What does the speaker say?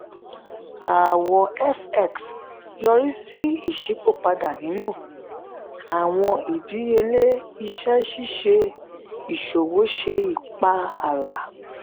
aawọ fx yori si iṣipopada ninu awọn idiyele iṣẹ ṣiṣe iṣowo ṣe ipa ala.